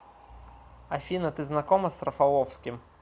афина ты знакома с рафаловским